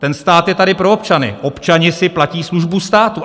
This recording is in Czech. Ten stát je tady pro občany, občané si platí službu státu.